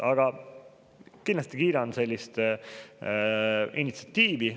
Aga ma kindlasti kiidan sellist initsiatiivi.